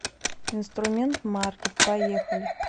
инструмент маркет поехали